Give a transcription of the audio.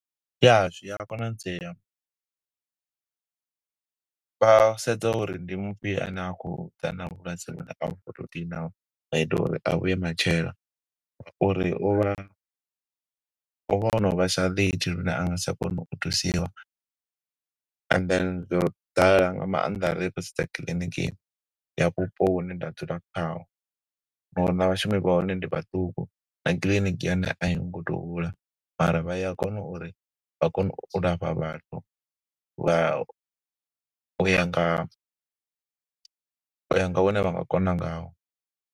Ya, zwi a konadzea. Vha sedza uri ndi mufhio ane a khou ḓa na vhulwadze vhune uri a vhuye matshelo. Uri uvha, u vha o no vhesa late lune anga sa tsha kona u thusiwa, and then zwo ḓala nga maanḓa ri khou sedza kiḽiniki ya vhupo hune nda dzula khaho. Na uri na vhashumi vha hone ndi vhaṱuku, na kiḽiniki ya hone a i ngo to u hula. Mara vha ya kona uri vha kone u lafha vhathu, vha u ya nga, u ya nga hune vha nga kona ngaho.